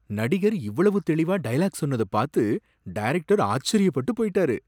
நடிகர் இவ்வளவு தெளிவா டயலாக் சொன்னத பாத்து டைரக்டர் ஆச்சரியப்பட்டு போயிட்டாரு